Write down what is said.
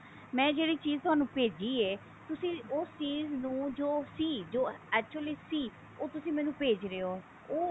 ਮੈਂ ਜਿਹੜੀ ਚੀਜ ਤੁਹਾਨੂੰ ਭੇਜੀ ਹੈ ਤੁਸੀਂ ਉਸ ਚੀਜ ਨੂੰ ਜੋ ਸੀ ਜੋ actually ਸੀ ਉਹ ਤੁਸੀਂ ਮੈਨੂੰ ਭੇਜ ਰਹੇ ਹੋ ਉਹ